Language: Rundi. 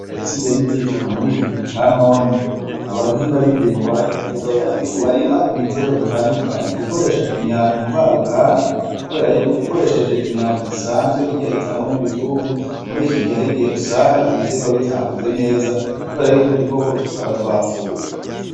Kubera isi igenda itituka murikigihe ca none abahinga bindimo barahimiriza abanyagihugu barima ibitegwa bitandukanye gukoresha imyavu yo mumahinguriro kuberako iyo ukoresheje uwusanzwe utangwa n'ibitungwa muri kigihe harigihe usanga igitegwa kitakuze neza kubera udukoko tutaba twapfuye.